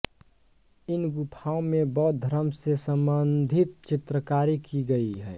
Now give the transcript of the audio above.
इन गुफाओं में बौद्ध धर्म से संबंधित चित्रकारी की गई है